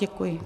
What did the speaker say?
Děkuji.